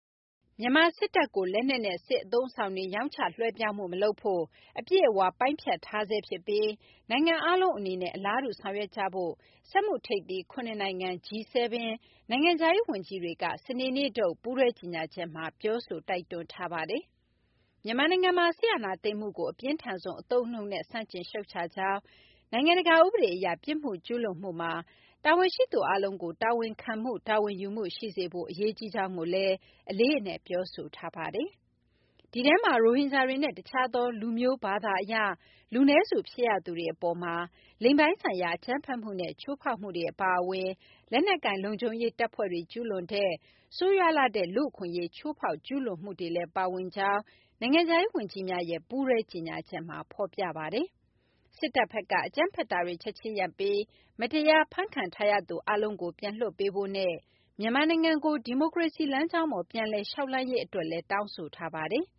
မြန်မာစစ်တပ်ကို လက်နက်နဲ့ စစ်အသုံးအဆောင်တွေ ရောင်းချလွှဲပြောင်းမှု မလုပ်ဖို့ အပြည့်အဝ ပိုင်းဖြတ်ထားဆဲဖြစ်ပြီး နိုင်ငံအားလုံးအနေနဲ့ အလားတူ ဆောင်ရွက်ကြဖို့ စက်မှုထိပ်သီး ၇ နိုင်ငံ G7 နိုင်ငံခြားရေးဝန်ကြီးတွေက စနေနေ့ထုတ် ပူးတွဲကြေညာချက်မှာ ပြောဆို တိုက်တွန်းထားပါတယ်။ မြန်မာနိုင်ငံမှာ စစ်အာဏာသိမ်းမှုကို အပြင်းထန်ဆုံး အသုံးအနှုန်းနဲ့ ဆန့်ကျင် ရှုတ်ချကြောင်း၊ နိုင်ငံတကာ ဥပဒေအရ ပြစ်မှုကျူးလွန်မှုမှာ တာဝန်ရှိသူအားလုံးကို တာဝန်ခံမှု တာဝန်ယူမှု ရှိစေဖို့ အရေးကြီးကြောင်းကိုလည်း အလေးအနက် ပြောဆိုထားပါတယ်။ ဒီအထဲမှာ ရိုဟင်ဂျာတွေနဲ့ တခြားသော လူမျိုး ဘာသာအရ လူနည်းစုဖြစ်ရသူတွေ အပေါ်မှာ လိင်ပိုင်းဆိုင်ရာ အကြမ်းဖက်မှုနဲ့ ချိုးဖောက်မှုတွေ အပါအဝင် လက်နက်ကိုင် လုံခြုံရေးတပ်ဖွဲ့တွေ ကျူးလွန်တဲ့ ဆိုးရွားလှတဲ့ လူ့အခွင့်အရေး ချိုးဖောက် ကျူးလွန်မှုတွေလည်း ပါဝင်ကြောင်း နိုင်ငံခြားရေးဝန်ကြီးများရဲ့ ပူးတွဲကြေညာချက်မှာ ဖော်ပြပါတယ်။ စစ်တပ်ဘက်က အကြမ်းဖက်တာတွေ ချက်ချင်းရပ်ပြီး မတရားဖမ်းခံထားရသူ အားလုံးကို ပြန်လွှတ်ပေးဖို့နဲ့ မြန်မာနိုင်ငံကို ဒီမိုကရေစီလမ်းကြောင်းပေါ် ပြန်လည်လျှောက်လှမ်းရေး အတွက်လည်း တောင်းဆိုထားပါတယ်။